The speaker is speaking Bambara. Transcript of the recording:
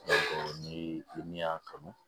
ni min y'a kanu